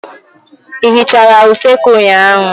Ị hichara usekwu ụnyaahụ?